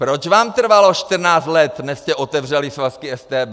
Proč vám trvalo 14 let, než jste otevřeli svazky StB?